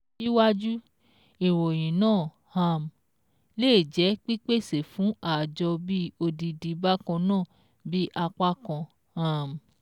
Síwájú, ìròyìn náà um lé jẹ pípèsè fún ààjọ bí odidi bákan náà bí apákan um